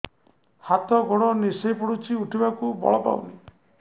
ହାତ ଗୋଡ ନିସେଇ ପଡୁଛି ଉଠିବାକୁ ବଳ ପାଉନି